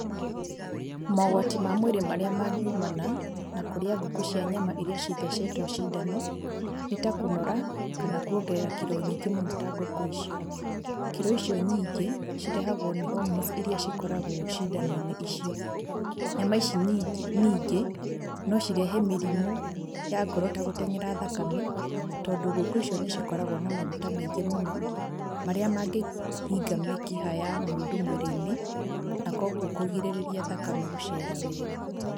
Mogwati ma mwĩrĩ marĩa mangiumana na, na kũrĩa ngũkũ cia nyama iria cithecetwo cindano, nĩtakũnora, kana kuongerera kiro nyingĩ mũno ta ngũkũ icio. Kiro icio nyingĩ, cirehagwo nĩ hormones iria cikoragwo cindanoinĩ icio. Nyama ici nyingĩ, ningĩ, nocirehe mĩrimũ ya ngoro ta gũteng'era thakame, tondũ ngũkũ icio nĩcikoragwo na maguta maingĩ mũno, marĩa mangĩhinga mĩkiha mũndũ mwĩrĩinĩ, na kwogwo kũgirĩrĩria thakame gũcera wega.